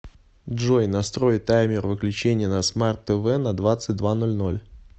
джой настрой таймер выключения на смарт тв на двадцать два ноль ноль